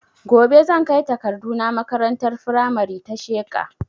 Gobe zan kai takardu na makarantar firamare ta Sheka